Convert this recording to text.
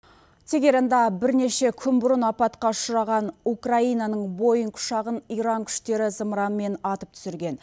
тигеранда бірнеше күн бұрын апатқа ұшыраған украинаның боинг ұшағын иран күштері зымыранмен атып түсірген